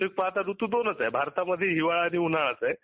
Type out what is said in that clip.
वास्तविक पाहता दोनच ऋृतू आहे. भारतामध्ये ही हिवाळा आणि उन्हाळाच आहे